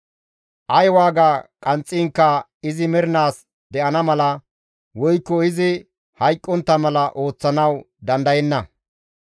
Ay waaga qanxxiinkka izi mernaas de7ana mala, woykko izi hayqqontta mala ooththanawu dandayenna.